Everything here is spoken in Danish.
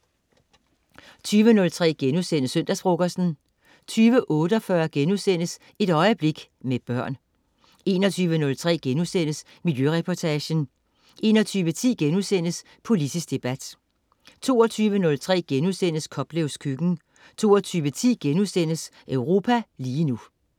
20.03 Søndagsfrokosten* 20.48 Et øjeblik med børn* 21.03 Miljøreportagen* 21.10 Politisk debat* 22.03 Koplevs Køkken* 22.10 Europa lige nu*